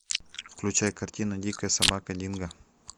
включай картину дикая собака динго